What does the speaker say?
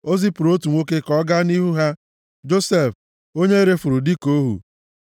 o zipụrụ otu nwoke ka ọ gaa nʼihu ha, Josef, onye e refuru dịka ohu.